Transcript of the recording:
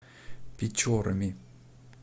печорами